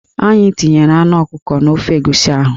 Anyị tinyere anụ ọkụkọ n'ofe egusi ahụ